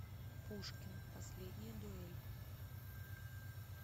пушкин последняя дуэль